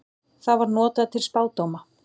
Það var notað til spádóma.